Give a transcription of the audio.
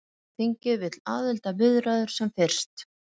Evrópuþingið vill aðildarviðræður sem fyrst